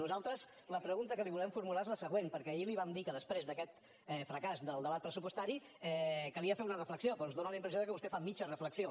nosaltres la pregunta que li volem formular és la següent perquè ahir li vam dir que després d’aquest fracàs del debat pressupostari calia fer una reflexió però ens dóna la impressió que vostè fa mitja reflexió